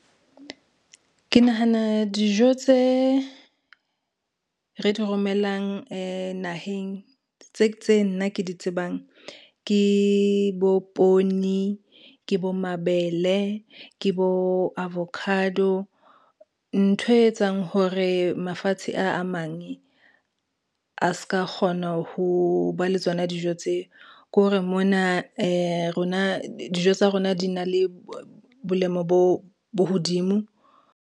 Ke nahana dijo tse, re di romelang naheng tse nna ke di tsebang ke bo poone, ke bo mabele, ke bo avocado. Ntho e etsang hore mafatshe a a mang a ska kgona ho ba le tsona dijo tse ke hore mona rona dijo tsa rona di na le bolemo bo hodimo.